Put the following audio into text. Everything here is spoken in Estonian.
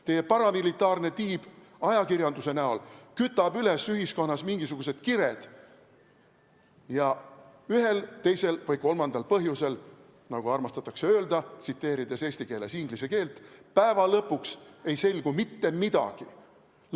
Teie paramilitaarne tiib ajakirjanduse kujul kütab ühiskonnas üles mingisugused kired ja ühel, teisel või kolmandal põhjusel, nagu armastatakse öelda, kasutades eesti keeles inglise keelt, "päeva lõpuks" ei selgu mitte midagi.